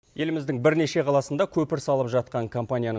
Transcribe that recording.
еліміздің бірнеше қаласында көпір салып жатқан компанияның